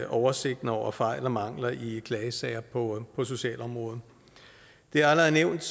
oversigten over fejl og mangler i klagesager på socialområdet det er allerede nævnt